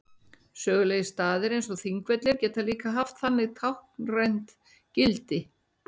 Sögulegir staðir eins og Þingvellir geta líka haft þannig táknrænt gildi.